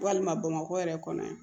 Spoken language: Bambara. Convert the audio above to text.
Walima bamakɔ yɛrɛ kɔnɔ yan